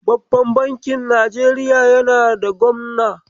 Babban bankin Najeriya yana da gwamna.